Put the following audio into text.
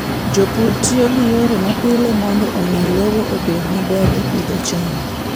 Jopur tiyo gi yore mapile mondo omi lowo obed maber e pidho cham.